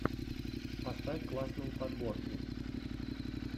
поставь классные подборки